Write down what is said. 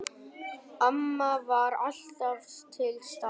Amma var alltaf til staðar.